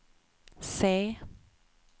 C